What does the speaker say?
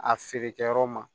A feerekɛyɔrɔ ma